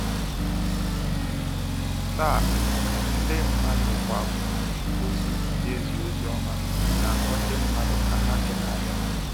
Taa, ndị mmadụ kwa bụ ndị ozi na ezi ozioma, na akpọ ndị mmadụ ka ha chegharịa.